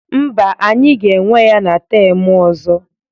Mba, anyị ga-enwe ya na temụ ọzọ.